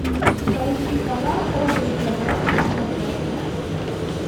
поищи канал рубль тв на смотрешке